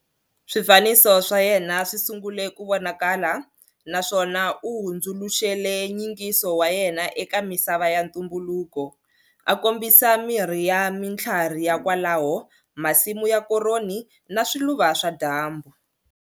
Swifaniso swa yena swi sungule ku vonakala naswona u hundzuluxele nyingiso wa yena eka misava ya ntumbuluko, a kombisa mirhi ya mitlhwari ya kwalaho, masimu ya koroni na swiluva swa dyambu.